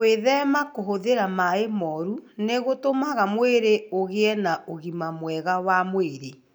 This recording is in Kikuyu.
Gwĩthema kũhũthĩra maĩ moru nĩ gũtũmaga mwĩrĩ ũgĩe na ũgima mwega wa mwĩrĩ.